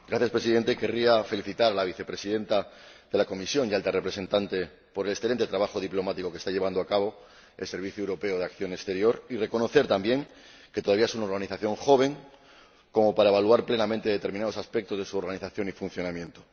Señor Presidente, querría felicitar a la Vicepresidenta de la Comisión y Alta Representante por el excelente trabajo diplomático que está llevando a cabo el Servicio Europeo de Acción Exterior y reconocer también que es una organización todavía joven como para evaluar plenamente determinados aspectos de su organización y funcionamiento.